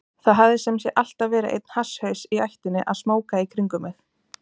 Það hafði sem sé alltaf verið einn hasshaus í ættinni að smóka í kringum mig.